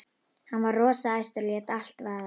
Hann var rosa æstur og lét allt vaða.